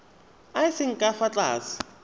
a seng ka fa tlase